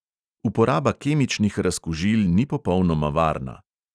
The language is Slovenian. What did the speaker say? Uporaba kemičnih razkužil ni popolnoma varna.